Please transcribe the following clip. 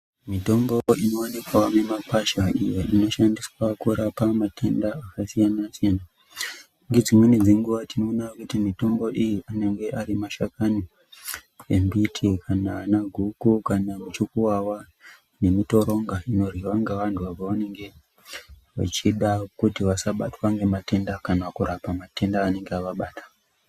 Mitombo inovanikavo mimakwasha iyo inoshandiswa kurapa matenda akasiyana-siyana. Ngedzimweni dzenguva tinona kuti mitombo iyi anenge ari mashakani embiti kana anaguku kana muchukuvava nemitoronga inoryiva ngevantu. Apo vanenge vachida kuti vasabatwa ngematenda kana kurapa matenda anenge avabata.